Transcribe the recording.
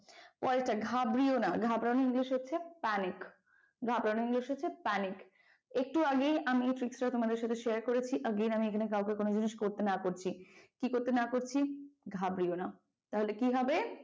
পরেরটা ঘাবড়িয়ো না। ঘাবড়ানোর english হচ্ছে panic ঘাবড়ানোর english হচ্ছে panic একটু আগেই আমি এই trick টা তোমাদের সাথে share করেছি again আমি এখানে কাউকে কোন জিনিস করতে না করছি ।কি করতে না করছি ঘাবড়িয়ো না তাহলে কি হবে?